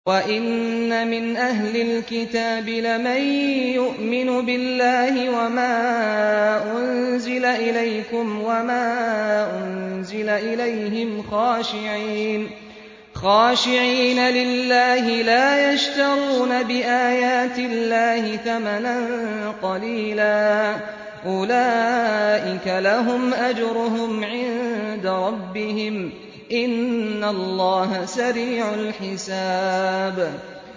وَإِنَّ مِنْ أَهْلِ الْكِتَابِ لَمَن يُؤْمِنُ بِاللَّهِ وَمَا أُنزِلَ إِلَيْكُمْ وَمَا أُنزِلَ إِلَيْهِمْ خَاشِعِينَ لِلَّهِ لَا يَشْتَرُونَ بِآيَاتِ اللَّهِ ثَمَنًا قَلِيلًا ۗ أُولَٰئِكَ لَهُمْ أَجْرُهُمْ عِندَ رَبِّهِمْ ۗ إِنَّ اللَّهَ سَرِيعُ الْحِسَابِ